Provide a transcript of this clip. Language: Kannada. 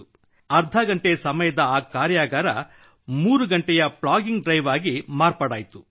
ಅರ್ಧ ಗಂಟೆ ಸಮಯದ ಆ ಕಾರ್ಯಾಗಾರ 3 ಗಂಟೆಯ ಪ್ಲಾಗಿಂಗ್ ಡ್ರೈವ್ ಆಗಿ ಮಾರ್ಪಾಡಾಯಿತು